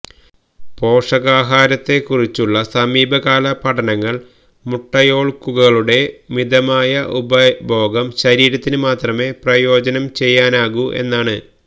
പോഷകാഹാരത്തെക്കുറിച്ചുള്ള സമീപകാല പഠനങ്ങൾ മുട്ട യോൾകുകകളുടെ മിതമായ ഉപഭോഗം ശരീരത്തിന് മാത്രമേ പ്രയോജനം ചെയ്യാനാകൂ എന്നാണ്